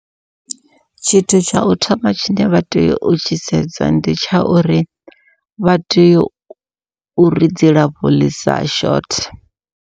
Tshithu tsha u thoma tshine vha tea u tshi sedza ndi tsha uri vha tea uri dzilafho ḽisa shothe.